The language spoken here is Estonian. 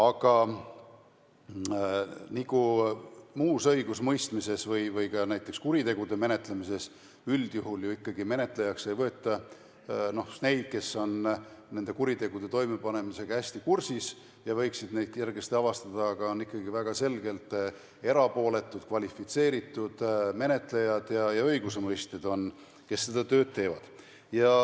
Aga nagu ka muus õigusmõistmises või ka näiteks kuritegude mentlemises üldjuhul ikkagi menetlejaks ei võeta neid, kes on nende kuritegude toimepanemisega hästi kursis ja võiksid neid kergesti avastada, vaid on ikkagi väga selgelt erapooletud kvalifitseeritud menetlejad ja õigusemõistjad, kes seda tööd teevad.